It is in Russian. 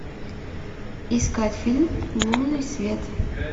искать фильм лунный свет